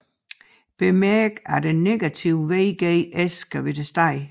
Bemærk at en negativ VGS forudsættes